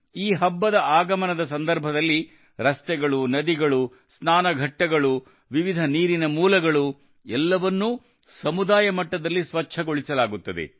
ಈ ಹಬ್ಬದ ಆಗಮನದ ಸಂದರ್ಭದಲ್ಲಿ ರಸ್ತೆಗಳು ನದಿಗಳು ಸ್ನಾನಘಟ್ಟಗಳು ವಿವಿಧ ನೀರಿನ ಮೂಲಗಳು ಎಲ್ಲವನ್ನೂ ಸಮುದಾಯ ಮಟ್ಟದಲ್ಲಿ ಸ್ವಚ್ಛಗೊಳಿಸಲಾಗುತ್ತದೆ